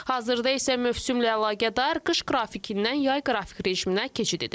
Hazırda isə mövsümlə əlaqədar qış qrafikindən yay qrafik rejiminə keçid edilib.